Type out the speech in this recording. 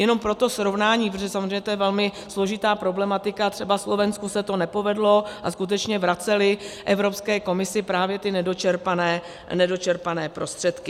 Jenom pro srovnání, protože samozřejmě to je velmi složitá problematika, třeba Slovensku se to nepovedlo a skutečně vraceli Evropské komisi právě ty nedočerpané prostředky.